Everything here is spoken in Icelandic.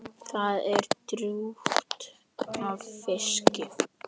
Það er drjúgt af fiski.